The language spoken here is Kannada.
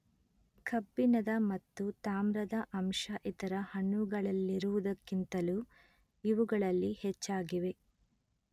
ಕಬ್ಬಿಣದ ಮತ್ತು ತಾಮ್ರದ ಅಂಶ ಇತರ ಹಣ್ಣುಗಳಲ್ಲಿರುವುದಕ್ಕಿಂತಲೂ ಇವುಗಳಲ್ಲಿ ಹೆಚ್ಚಾಗಿವೆ